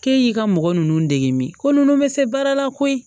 K'e y'i ka mɔgɔ ninnu dege min ko ninnu bɛ se baara la koyi